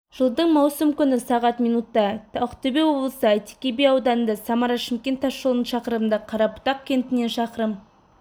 жылдың маусым күні сағат минутта ақтөбе облысы әйтеке би ауданында самара-шымкент тасжолының шақырымында қарабұтақ кентінен шақырым